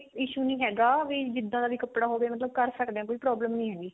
issue ਨੀ ਹੈਗਾ ਵੀ ਜਿੱਦਾਂ ਦਾ ਵੀ ਕੱਪੜਾ ਹੋਵੇ ਕਰ ਸਕਦੇ ਹਾਂ ਮਤਲਬ ਕੋਈ problem ਨੀ ਹੈਗੀ